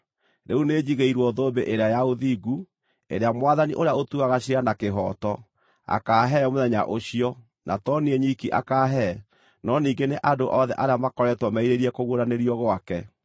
Rĩu nĩnjigĩirwo thũmbĩ ĩrĩa ya ũthingu, ĩrĩa Mwathani, ũrĩa ũtuaga ciira na kĩhooto, akaahe mũthenya ũcio, na to niĩ nyiki akaahe, no ningĩ nĩ andũ othe arĩa makoretwo merirĩirie kũguũranĩrio gwake.